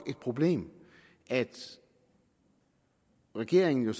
et problem at regeringen